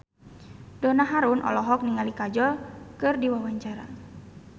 Donna Harun olohok ningali Kajol keur diwawancara